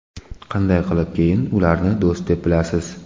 Qanday qilib keyin ularni do‘st deb bilasiz?